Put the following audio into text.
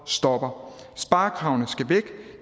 stopper sparekravene skal væk